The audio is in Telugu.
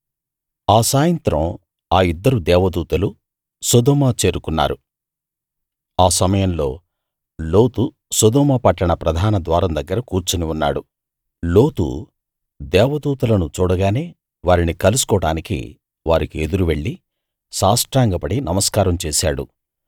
ఆ సాయంత్రం ఆ ఇద్దరు దేవదూతలు సొదొమ చేరుకున్నారు ఆ సమయంలో లోతు సొదొమ పట్టణ ప్రధాన ద్వారం దగ్గర కూర్చుని ఉన్నాడు లోతు దేవదూతలను చూడగానే వారిని కలుసుకోవడానికి వారికి ఎదురు వెళ్ళి సాష్టాంగపడి నమస్కారం చేశాడు